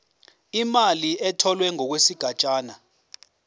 imali etholwe ngokwesigatshana